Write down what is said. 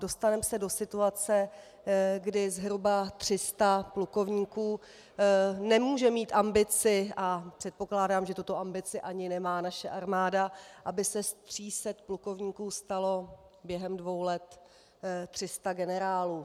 Dostaneme se do situace, kdy zhruba 300 plukovníků nemůže mít ambici, a předpokládám, že tuto ambici nemá ani naše armáda, aby se z 300 plukovníků stalo během dvou let 300 generálů.